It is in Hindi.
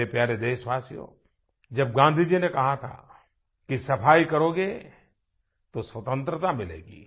मेरे प्यारे देशवासियो जब गाँधी जी ने कहा था कि सफाई करोगे तो स्वतंत्रता मिलेगी